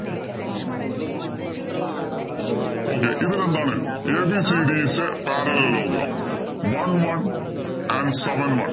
Okay ഇതില്‍ എന്താണ് ABCD is a parallelogram one one and seven one